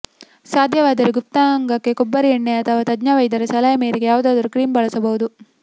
ಸಾಧ್ಯವಾದರೆ ಗುಪ್ತಾಂಗಕ್ಕೆ ಕೊಬ್ಬರಿ ಎಣ್ಣೆ ಅಥವಾ ತಜ್ಞ ವೈದ್ಯರ ಸಲಹೆ ಮೇರೆಗೆ ಯಾವುದಾದರೂ ಕ್ರೀಂ ಬಳಸಬಹುದು